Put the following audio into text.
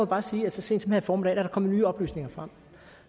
bare sige at så sent som her i formiddag er der kommet nye oplysninger frem